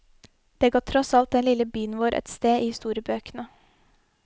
Det ga tross alt den den lille byen vår et sted i historiebøkene.